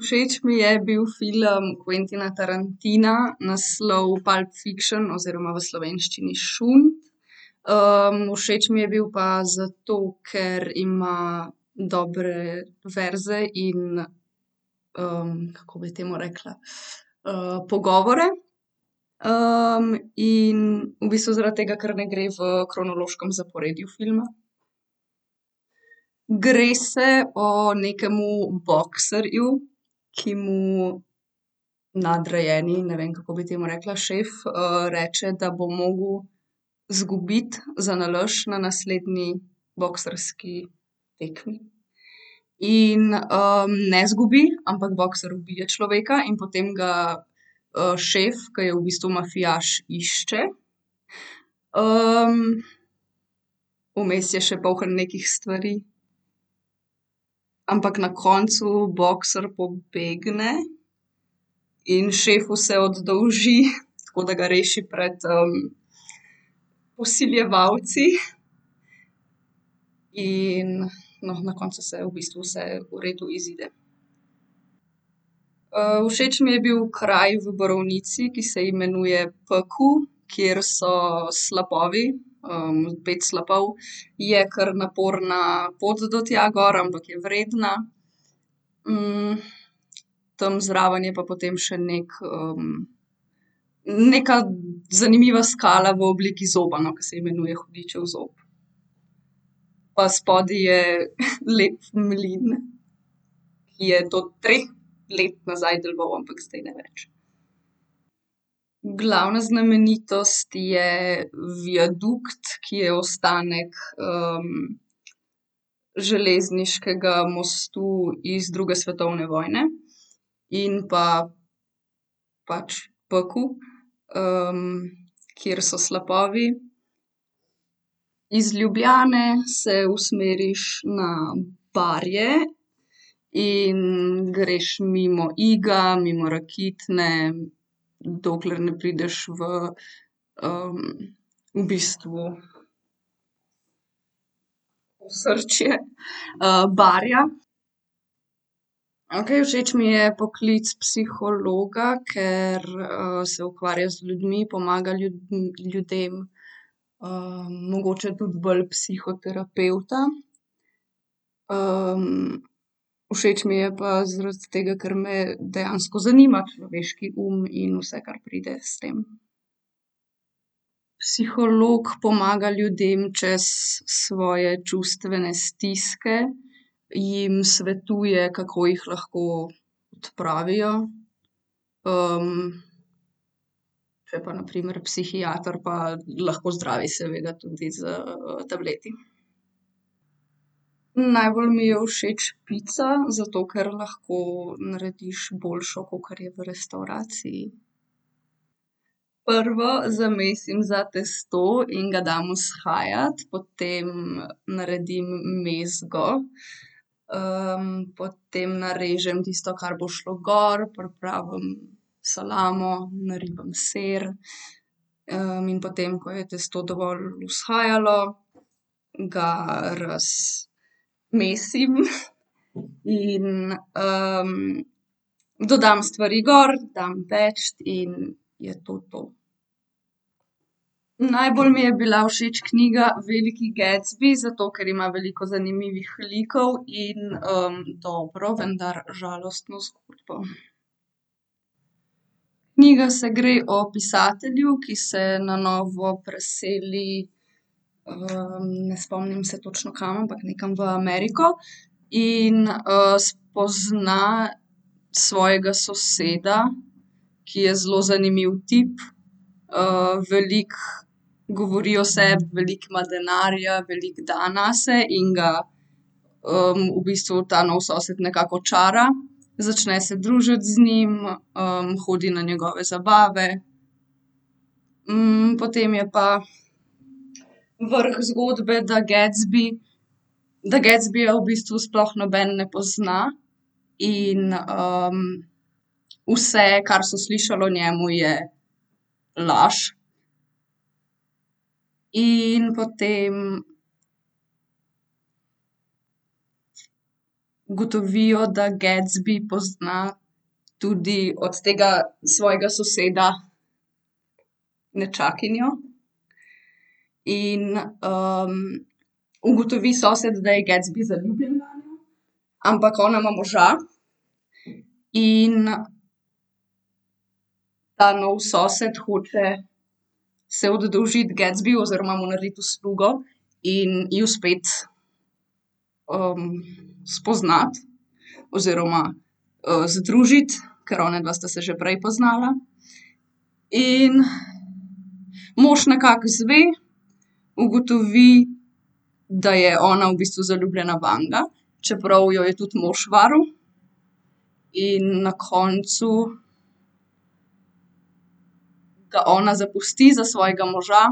Všeč mi je bil film Quentina Tarantina, naslov Pulp fiction oziroma v slovenščini Šund. všeč mi je bil pa zato, ker ima dobre verze in, kako bi temu rekla, pogovore. in v bistvu zaradi tega, ker ne gre v kronološkem zaporedju filma. Gre se o nekemu bokserju, ki mu nadrejeni, ne vem, kako bi temu rekla, šef, reče, da bo mogel izgubiti zanalašč na naslednji boksarski tekmi. In, ne izgubi, ampak boksar ubije človeka in potem ga, šef, ke je v bistvu mafijaš, išče, vmes je še polno nekih stvari. Ampak na koncu boksar pobegne in šefu se oddolži tako, da ga reši pred, vsiljevalci. In, no, na koncu se v bistvu vse v redu izide. všeč mi je bil kraj v Borovnici, ki se imenuje Pekel, kjer so slapovi. pet slapov, je kar naporna pot do tja gor, ampak je vredna. tam zraven je pa potem še neki, neka zanimiva skala v obliki zoba, no, ke se imenuje Hudičev zob. Pa spodaj je lep mlin, ki je do treh let nazaj deloval, ampak zdaj ne več. Glavna znamenitost je viadukt, ki je ostanek, železniškega mostu iz druge svetovne vojne. In pa pač Pekel, kjer so slapovi. Iz Ljubljane se usmeriš na Barje in greš mimo Iga, mimo Rakitne, dokler ne prideš v, v bistvu osrčje, Barja. Okej, všeč mi je poklic psihologa, ker, se ukvarja z ljudmi, pomaga ljudem. mogoče tudi bolj psihoterapevta. všeč mi je pa zaradi tega, ker me dejansko zanima človeški um in vse, kar pride s tem. Psiholog pomaga ljudem čez svoje čustvene stiske, jim svetuje, kako jih lahko odpravijo. če pa na primer psihiater, pa lahko zdravi seveda tudi s, tableti. najbolj mi je všeč pica, zato ker lahko narediš boljšo, kakor je v restavraciji. Prvo zamesim za testo in ga dam vzhajati. Potem naredim mezgo, potem narežem testo, kar bo šlo gor, pripravim salamo, naribam sir, in potem, ko je testo dovolj vzhajalo, ga mesim in, dodam stvari gor, dam peči in je to to. Najbolj mi je bila všeč knjiga Veliki Gatsby, zato ker ima veliko zanimivih likov in, dobro, vendar žalostno zgodbo. Knjiga se gre o pisatelju, ki se na novo preseli, ne spomnim se točno kam, ampak nekam v Ameriko. In, spozna svojega soseda, ki je zelo zanimiv tip. veliko govori o sebi, veliko ima denarja, veliko da nase in ga, v bistvu ta novi sosed nekako očara. Začne se družiti z njim, hodi na njegove zabave. potem je pa vrh zgodbe, da Gatsby, da Gatsbyja v bistvu sploh noben ne pozna in, vse, kar so slišali o njem, je laž. In potem ugotovijo, da Gatsby pozna tudi od tega svojega soseda nečakinjo. In, ugotovi sosed, da je Gatsby zaljubljen vanjo, ampak ona ima moža in ta novi sosed hoče se oddolžiti Gatsbyju oziroma mu narediti uslugo in ju spet, spoznati oziroma, združiti, ker onadva sta se že prej poznala. In mož nekako izve, ugotovi, da je ona v bistvu zaljubljena vanj, čeprav jo je tudi mož varal in na koncu ga ona zapusti za svojega moža.